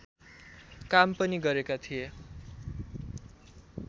काम पनि गरेका थिए